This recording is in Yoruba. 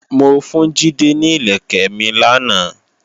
Mo fún Jídé ní ìlẹ̀kẹ̀ mi lánàá